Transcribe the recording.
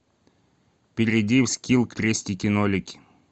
перейди в скилл крестики нолики